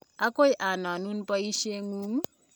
akoi anonun boisie ngung.